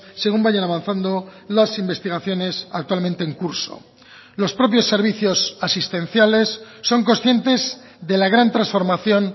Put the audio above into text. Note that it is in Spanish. según vayan avanzando las investigaciones actualmente en curso los propios servicios asistenciales son conscientes de la gran transformación